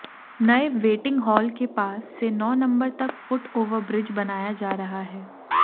नए waiting hall के पास से नौ नंबर तक फुट ओवरब्रिज बनाया जा रहा है